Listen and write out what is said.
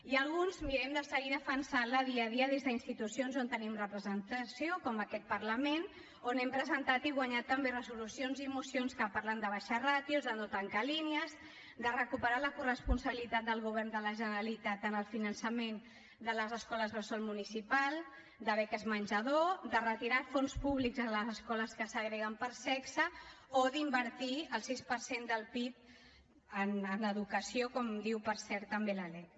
i alguns mirem de seguir defensant la dia a dia des d’institucions on tenim representació com aquest parlament on hem presentat i guanyat també resolucions i mocions que parlen d’abaixar ràtios de no tancar línies de recuperar la coresponsabilitat del govern de la generalitat en el finançament de les escoles bressol municipals de beques menjador de retirar fons públics a les escoles que segreguen per sexe o d’invertir el sis per cent del pib en educació com diu per cert també la lec